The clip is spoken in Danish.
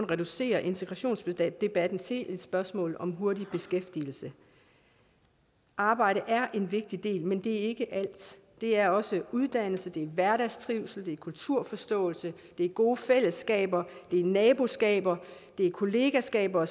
reducerede integrationsdebatten til et spørgsmål om hurtig beskæftigelse arbejde er en vigtig del men det er ikke alt det er også uddannelse det er hverdagstrivsel det er kulturforståelse det er gode fællesskaber det er naboskaber det er kollegaskaber